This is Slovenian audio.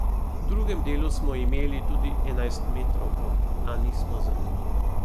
V drugem delu smo imeli tudi enajstmetrovko, a nismo zadeli.